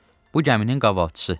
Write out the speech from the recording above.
Bu gəminin qavalçısı.